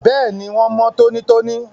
Bẹ́ẹ̀ni, wón mọ́ tónítóní